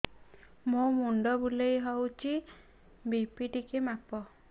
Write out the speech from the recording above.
ମୋ ମୁଣ୍ଡ ବୁଲେଇ ହଉଚି ବି.ପି ଟିକେ ମାପ